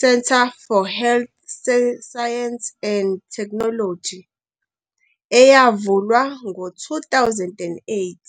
Center for Health Sciences and Technology, eyavulwa ngo-2008.